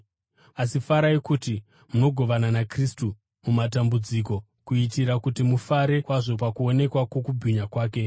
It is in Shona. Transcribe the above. Asi farai kuti munogovana naKristu mumatambudziko, kuitira kuti mufare kwazvo pakuonekwa kwokubwinya kwake.